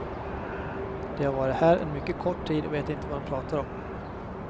De har varit här en mycket kort tid och vet inte vad de pratar om.